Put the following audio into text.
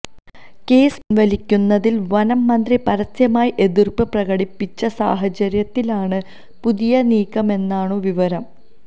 case പിന്വലിക്കുന്നതില് വനം മന്ത്രി പരസ്യമായ എതിര്പ്പ് പ്രകടിപ്പിച്ച സാഹചര്യത്തിലാണു പുതിയ നീക്കമെന്നാണു വിവരം